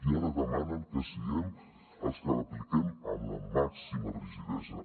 i ara demanen que siguem els que l’apliquem amb la màxima rigidesa